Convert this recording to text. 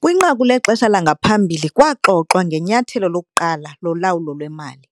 Kwinqaku lexesha langaphambili kwaxoxwa ngenyathelo lokuqala lolawulo lwemali.